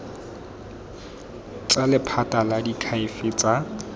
tsa lephata la diakhaefe tsa